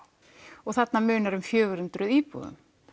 og þarna munar um fjögur hundruð íbúðum